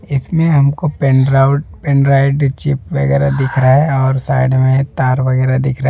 इसमें हमको पेन ड्राउट पेन ड्राइव चिप वगैरह दिख रहा है और साइड में तार वगैरा दिख रहा --